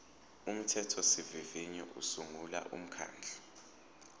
umthethosivivinyo usungula umkhandlu